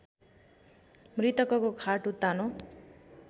मृतकको खाट उत्तानो